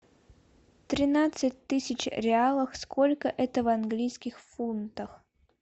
тринадцать тысяч реалов сколько это в английских фунтах